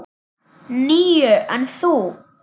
Níu, en þú?